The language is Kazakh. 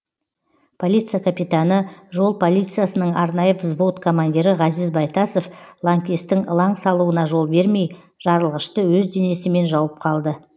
полиция капитаны жол полициясының арнайы взвод командирі ғазиз байтасов лаңкестің ылаң салуына жол бермей жарылғышты өз денесімен жауып қалды